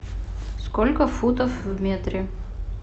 сколько футов в метре